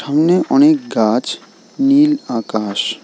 সামনে অনেক গাছ নীল আকাশ।